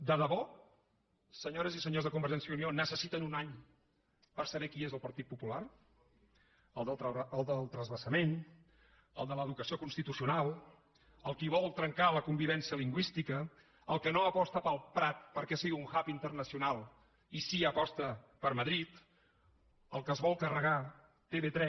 de debò senyores i senyors de convergència i unió necessiten un any per saber qui és el partit popular el del transvasament el de l’educació constitucional el qui vol trencar la convivència lingüística el que no aposta pel prat perquè sigui un hub internacional i sí que aposta per madrid el que es vol carregar tv3